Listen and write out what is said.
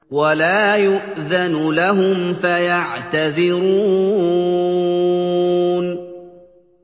وَلَا يُؤْذَنُ لَهُمْ فَيَعْتَذِرُونَ